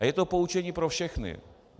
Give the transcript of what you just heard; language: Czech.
A je to poučení pro všechny.